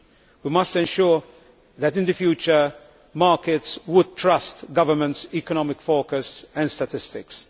We must ensure that in the future, markets trust governments' economic forecasts and statistics.